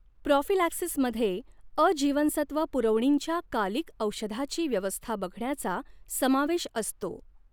प्रॉफिलॅक्सिसमध्ये, अ जीवनसत्त्व पुरवणींच्या कालिक औषधाची व्यवस्था बघण्याचा समावेश असतो.